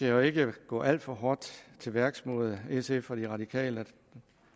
jo ikke gå alt for hårdt til værks mod sf og de radikale